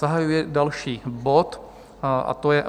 Zahajuji další bod a to je